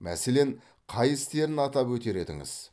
мәселен қай істерін атап өтер едіңіз